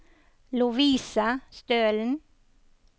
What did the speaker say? Lovise Stølen